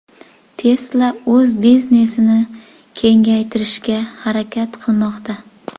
Tesla o‘z biznesini kengaytirishga harakat qilmoqda.